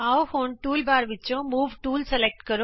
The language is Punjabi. ਆਉ ਹੁਣ ਟੂਲਬਾਰ ਵਿਚੋਂ ਮੂਵ ਟੂਲ ਚੁਣੀਏ